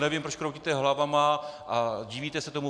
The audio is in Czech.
Nevím, proč kroutíte hlavami a divíte se tomu.